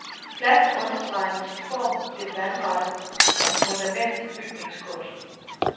Pladsen understreger med sin form det vandrette som fundament til bygningskunsten.